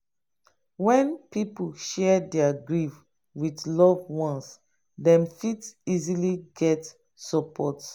when pipo share their grief with loved ones dem fit easily get support